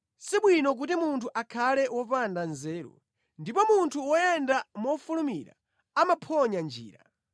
Si bwino kuti munthu akhale wopanda nzeru; ndipo munthu woyenda mofulumira amaphonya njira.